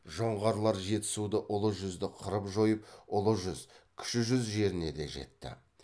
жоңғарлар жетісуды ұлы жүзді қырып жойып ұлы жүз кіші жүз жеріне де жетті